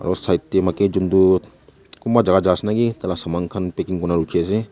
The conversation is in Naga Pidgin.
side te maiki ekjon tu kumba jaka jai ase niki tai la saman khan packing kuri ne rukhi ase.